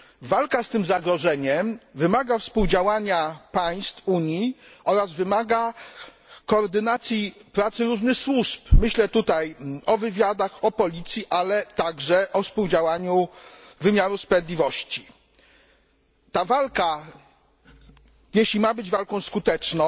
Walka z tym zagrożeniem wymaga współdziałania państw Unii oraz wymaga koordynacji pracy różnych służb, myślę tutaj o wywiadach, o policji, ale także współdziałaniu wymiaru sprawiedliwości. Ta walka, jeśli ma być walką skuteczną,